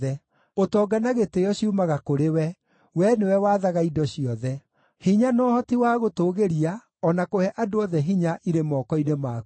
Ũtonga na gĩtĩĩo ciumaga kũrĩ we; Wee nĩwe wathaga indo ciothe. Hinya na ũhoti wa gũtũũgĩria o na kũhe andũ othe hinya irĩ moko-inĩ maku.